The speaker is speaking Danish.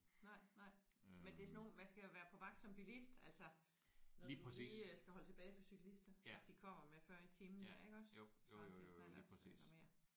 Nej nej. Men det er sådan nogle man skal jo være på vagt som bilist altså når du lige øh skal holde tilbage for cyklister at de kommer med 40 i timen iggås svarende til en knallert eller mere